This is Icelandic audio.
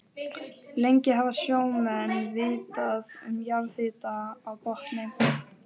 Lengi hafa sjómenn vitað um jarðhita á botni